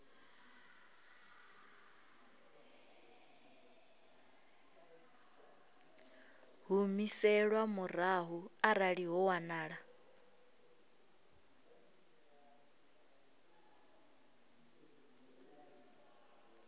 humiselwa murahu arali ho wanala